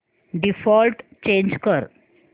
default change कर